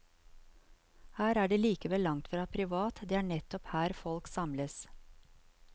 Her er det likevel langtfra privat, det er nettopp her folk samles.